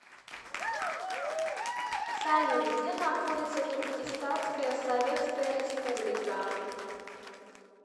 салют где находится туркестанская советская республика